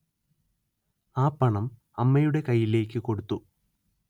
ആ പണം അമ്മയുടെ കയ്യിലേക്ക് കൊടുത്തു